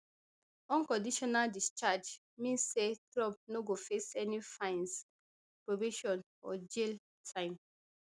unconditional discharge mean say trump no go face any fines probation or jail time